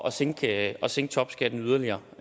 at sænke at sænke topskatten yderligere